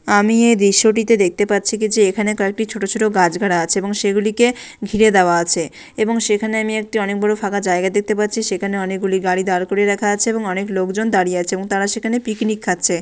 আমি এই দৃশ্যটিতে দেখতে পাচ্ছি কি যে এখানে কয়েকটি ছোট ছোট গাছগাড়া আছে এবং সেগুলিকে ঘিরে দেওয়া আছে এবং সেখানে আমি একটি অনেক বড় ফাঁকা জায়গা দেখতে পাচ্ছি। সেখানে অনেক গুলি গাড়ি দাঁড় করিয়ে রাখা আছে এবং অনেক লোকজন দাঁড়িয়ে আছে এবং তারা সেখানে পিকনিক খাচ্ছে।